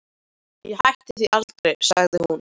Ég hætti því aldrei, sagði hún.